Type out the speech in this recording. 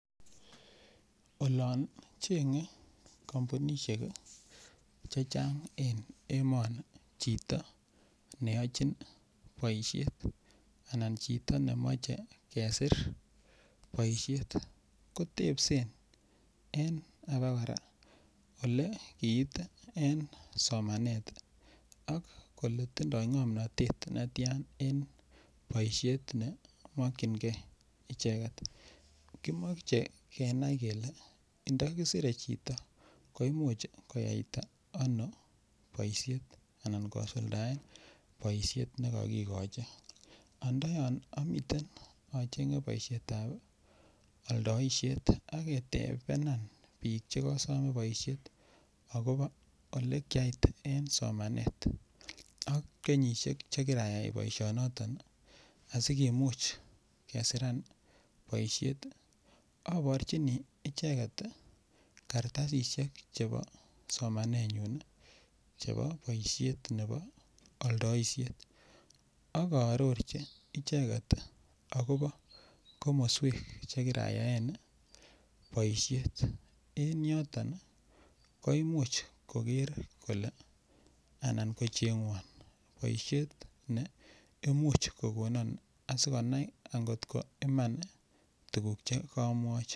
Olon chengei kampunisiek Che Chang en emoni chito ne yachin boisiet Anan chito nemache kesir boisiet kotebse abakora Ole kiit en somanet ak kole tindoi ngomnatet netian en boisiet ne mokyingei icheget kimoche kenai kele ndakisire chito koimuch koyaita ano boisiet Anan kosuldaen boisiet ne kagigochi nda yon a miten achenge boisiet ab aldaishet ak ketebenan bik Che ko some boisiet agobo Ole kiait en somanet ak kenyisiek Che kirayai boisionoto asikimuch kesiran boisiet aborchini icheget kartasisyek Che bo somanenyun chebo boisiet nebo aldaishet ak aarorchi ichek agobo komoswek Che kirayaen boisiet en yoton koimuch koger kole anan ko chengwon boisiet ne Imuch kogon asikobit koger angot ko Iman tuguk Che kamwochi